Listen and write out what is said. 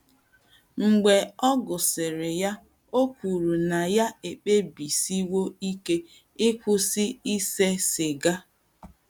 Mgbe ọ gụsịrị ya, o kwuru na ya ekpebisiwo ike ịkwụsị ise siga. ”